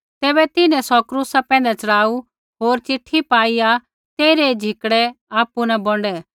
तैबै तिन्हैं सौ क्रूसा पैंधै च़ढ़ाऊ होर चिट्ठी पाईआ तेइरै झिकड़ै आपु न बोंडै